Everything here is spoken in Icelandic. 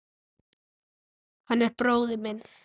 Hann er bróðir minn.